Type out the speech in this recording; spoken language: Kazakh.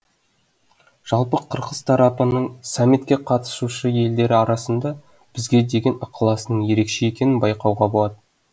жалпы қырғыз тарапының саммитке қатысушы елдер арасында бізге деген ықыласының ерекше екенін байқауға болады